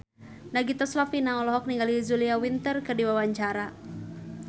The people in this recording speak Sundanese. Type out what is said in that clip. Nagita Slavina olohok ningali Julia Winter keur diwawancara